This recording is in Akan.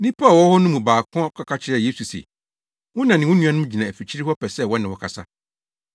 Nnipa a wɔwɔ hɔ no mu baako kɔka kyerɛɛ Yesu se, “Wo na ne wo nuanom gyina afikyiri hɔ pɛ sɛ wɔne wo kasa.”